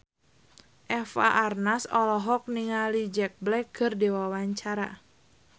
Eva Arnaz olohok ningali Jack Black keur diwawancara